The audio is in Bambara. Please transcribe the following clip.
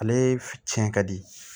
Ale f cɛn ka di